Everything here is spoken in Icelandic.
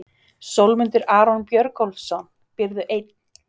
Sólmundur Aron Björgólfsson Býrðu einn?